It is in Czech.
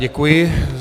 Děkuji.